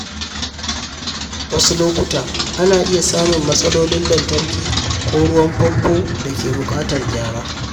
Wasu lokuta, ana iya samun matsalolin lantarki ko ruwan famfo da ke buƙatar gyara.